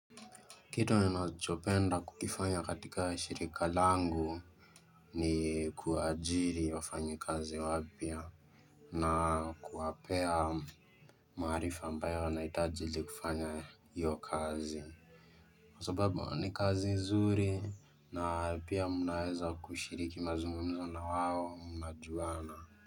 Kitu ninachopenda kukifanya katika shirika langu ni kuajiri wafanyikazi wapya na kuwapea maarifa ambayo anahitaji ili kufanya hiyo kazi Kwa sababu ni kazi nzuri na pia mnaweza kushiriki mazungumza na wao mnajuana.